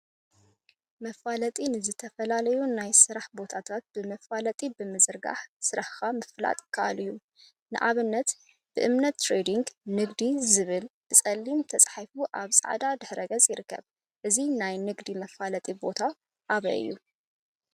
መፋለጢ ንዝተፈላለዩ ናይ ስራሕ ቦታታት ብመፋለጢ ብምዝርጋሕ ስራሕካ ምፍላጥ ይከአል እዩ፡፡ ንአብነት ብእምነት ትሬዲንግ/ ንግዲ/ ዝብል ብፀሊም ተፃሒፉ አብ ፃዕዳ ድሕረ ገፅ ይርከብ፡፡ እዚ ናይ ንግዲ መፋለጢ አበይ ቦታ እዩ?